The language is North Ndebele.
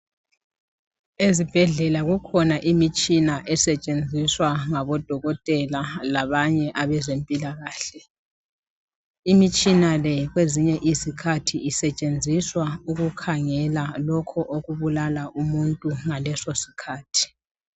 Ezibhedlela kukhona imitshina estshenziswa ngabodokotela labanye abezempilakahle, imitshina le kwezinye izikhathi isetshenziswa ukukhangela lokhu okubulala umuntu ngaleso sikhathi.